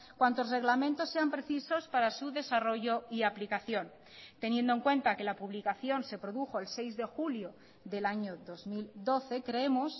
cuantos reglamentos sean precisos para su desarrollo y aplicación teniendo en cuenta que la publicación se produjo el seis de julio del año dos mil doce creemos